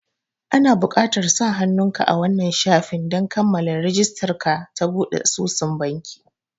Ana buƙatar sa hannun ka a wannan shafin don kammala rijistar ka ta buɗe asusun banki